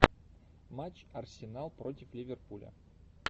матч арсенал против ливерпуля